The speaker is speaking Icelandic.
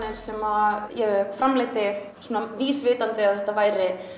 sem ég framleiddi svona vísvitandi að þetta væru